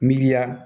Miiriya